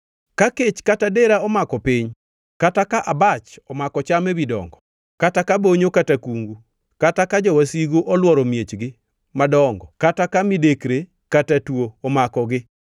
“Ka kech kata dera omako piny, kata ka abach omako cham ewi dongo kata ka bonyo kata kungu kata ka jowasigu olworo miechgi madongo kata ka midekre kata tuo omakogi,